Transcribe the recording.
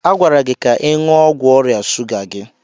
A gwara gị ka ị ṅụọ ọgwụ ọrịa shuga gị.